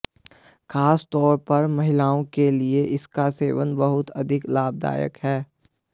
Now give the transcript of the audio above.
खासतौर पर महिलाओं के लिए इसका सेवन बहुत अधिक लाभदायक है